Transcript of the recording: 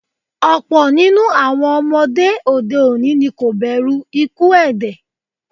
Ọ̀pọ̀ ninu awọn ọmọde òde òní ni kò bẹ̀rù ikuú èdè